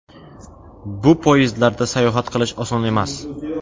Bu poyezdlarda sayohat qilish oson emas.